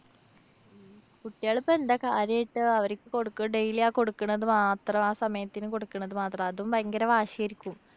കുട്ടികളിപ്പോ എന്താ കാര്യായിട്ട് അവര്‍ക്ക് കൊടുക്കുകാ? daily ആ കൊടുക്കണത് മാത്രം. ആ സമയത്തിന് കൊടുക്കണത് മാത്രം. അതും ഭയങ്കര വാശിയായിരിക്കും.